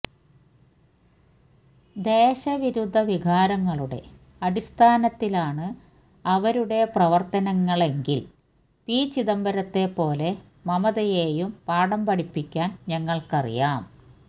ദേശവിരുദ്ധ വികാരങ്ങളുടെ അടിസ്ഥാനത്തിലാണ് അവരുടെ പ്രവര്ത്തനങ്ങളെങ്കില് പി ചിദംബരത്തെ പോലെ മമതയേയും പാഠം പഠിപ്പിക്കാന് ഞങ്ങള്ക്കറിയാം